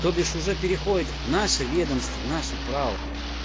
то бишь уже переходит в наше ведомство в наше право